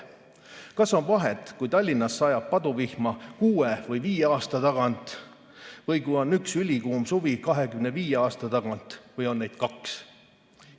Kas on vahet, kui Tallinnas sajab paduvihma kuue või viie aasta tagant või kas on üks ülikuum suvi 25 aasta tagant või on neid kaks?